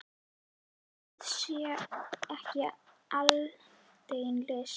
En það sé ekki aldeilis list.